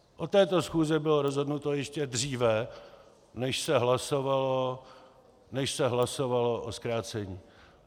O této schůzi bylo rozhodnuto ještě dříve, než se hlasovalo o zkrácení.